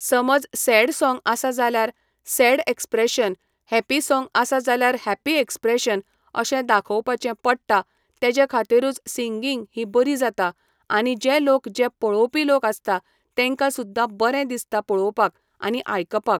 समज sad song आसा जाल्यार सॅड एक्स्प्रेशन हॅप्पी सॉंग आसा जाल्यार हॅप्पी एक्स्प्रेशन अशें दाखोवपाचें पडटा तेजे खातीरूच सिंगींग ही बरी जाता आनी जें लोक जे पळोवपी लोक आसता तेंका सुद्दां बरें दिसता पळोवपाक आनी आयकपाक